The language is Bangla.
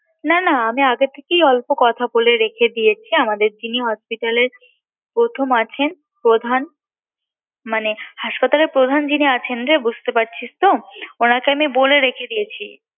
না না আমি আগে থেকেই অল্প কথা বলে রেখে দিয়েছি আমাদের যিনি hospital এর প্রথম আছেন প্রধান মানে হাসপাতালের প্রধান যিনি আছেন বুঝতে পারছিস তো তাকে আমি বলে রেখেছি